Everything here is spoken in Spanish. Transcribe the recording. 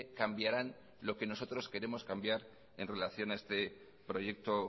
cambiaran lo que nosotros queremos cambiar en relación a este proyecto